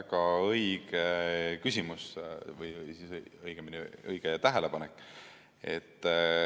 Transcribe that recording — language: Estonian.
Väga õige küsimus või õigemini õige tähelepanek.